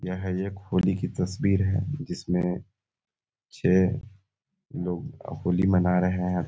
यह एक होली की तस्वीर है जिसमें छः लोग होली मना रहे हैं ।